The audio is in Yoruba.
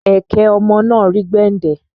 Ẹ̀kẹ ọmọ náà rí gbẹndẹ